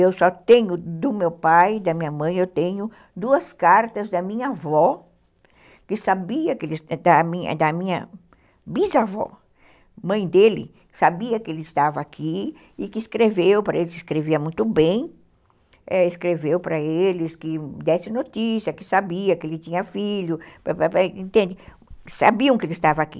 Eu só tenho do meu pai, da minha mãe, eu tenho duas cartas da minha avó, da minha da minha bisavó, mãe dele, que sabia que ele estava aqui e que escreveu para eles, escrevia muito bem, escreveu para eles que desse notícia, que sabia que ele tinha filho, que sabiam que ele estava aqui.